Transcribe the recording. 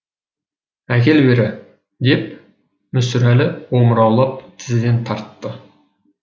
әкел бері деп мүсірәлі омыраулап тізеден тартты